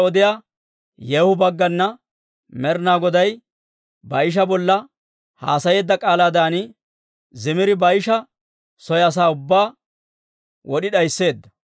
Timbbitiyaa odiyaa Yeehu baggana Med'inaa Goday Baa'isha bolla haasayeedda k'aalaadan Zimiri Baa'isha soo asaa ubbaa wod'i d'aysseedda.